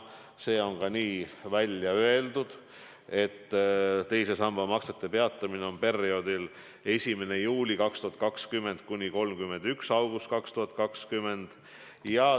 See on ka välja öeldud, et teise samba maksed peatatakse perioodil 1. juuli 2020 – 31. august 2021.